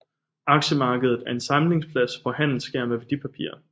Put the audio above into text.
Aktiemarkedet er en samlingsplads hvor handel sker med værdipapirer